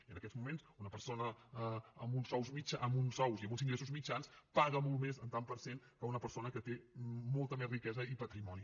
i en aquests moments una persona amb uns sous i amb uns ingressos mitjans paga molt més en tant per cent que una persona que té molta més riquesa i patrimoni